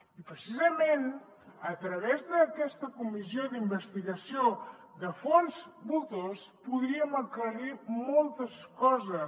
i precisament a través d’aquesta comissió d’investigació de fons voltors podríem aclarir moltes coses